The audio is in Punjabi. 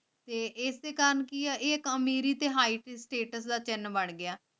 ਏਸ ਕੰਮ ਕੀ ਆ ਇਹ ਕੌਮ ਮੇਰੀ ਤਿਹਾਈ ਪਿਸਟਲ ਅਤੇ ਅਨਪੜ੍ਹ ਗਿਆ